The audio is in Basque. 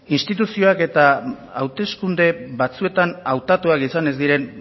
instituzioak eta hauteskunde batzuetan hautatuak izan ez diren